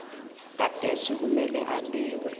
gadesi kumele abiwe